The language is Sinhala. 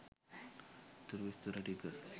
ඉතුරු විස්තර ටික